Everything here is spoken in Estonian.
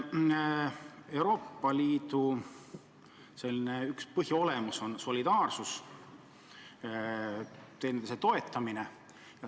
Euroopa Liidu üks põhiolemus on solidaarsus, teineteise toetamine.